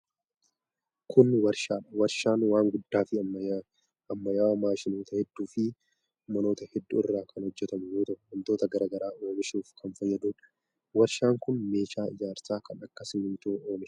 Kun warshaa dha. Warshaan waan guddaa fi ammayyawaa maashinoota hedduu fi manoota hedduu irraa kan hojjatamu yoo ta'u, wantoota garaa garaa oomishuuf kan fayyaduu dha. Warshaan kun meeshaa ijaarsaa kan akka simiintoo oomisha.